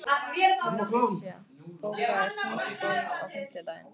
Patrisía, bókaðu hring í golf á fimmtudaginn.